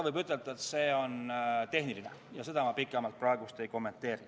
Võib ütelda, et see on tehniline, ja seda ma pikemalt praegu ei kommenteeri.